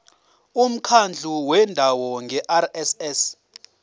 umkhandlu wendawo ngerss